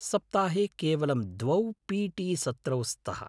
सप्ताहे केवलं द्वौ पी.टी. सत्रौ स्तः।